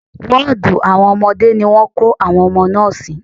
Wọ́ọ̀dù àwọn ọmọdé ni wọ́n kó àwọn ọmọ náà sí.